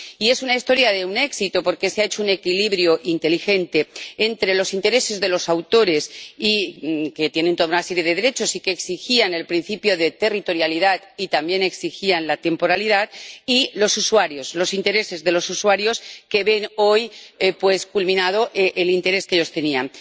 Y es una historia de un éxito, porque se ha hecho un equilibrio inteligente entre los intereses de los autores ―que tienen toda una serie de derechos y que exigían el principio de territorialidad, y también exigían la temporalidad― y los intereses de los usuarios, quienes ven hoy culminado el interés que ellos tenían.